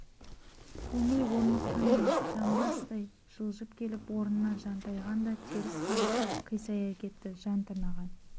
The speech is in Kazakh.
көңіл орныққандай жамбастай жылжып келіп орнына жантайған да теріс қарап қисая кетті жан тырнаған